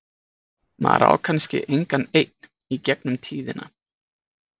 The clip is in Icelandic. Maður á kannski engan einn í gegnum tíðina.